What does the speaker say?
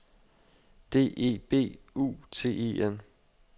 D E B U T E N